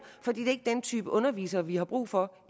for det er ikke den type underviser vi har brug for